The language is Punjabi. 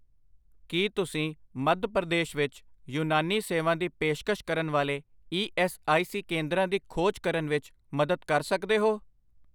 ਕੀ ਤੁਸੀਂ ਮੱਧ ਪ੍ਰਦੇਸ਼ ਵਿੱਚ ਯੂਨਾਨੀ ਸੇਵਾ ਦੀ ਪੇਸ਼ਕਸ਼ ਕਰਨ ਵਾਲੇ ਈ ਐੱਸ ਆਈ ਸੀ ਕੇਂਦਰਾਂ ਦੀ ਖੋਜ ਕਰਨ ਵਿੱਚ ਮਦਦ ਕਰ ਸਕਦੇ ਹੋ